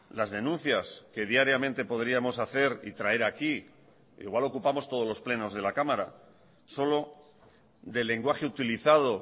las denuncias que diariamente podríamos hacer y traer aquí igual ocupamos todos los plenos de la cámara solo del lenguaje utilizado